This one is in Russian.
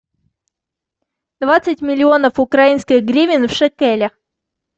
двадцать миллионов украинских гривен в шекелях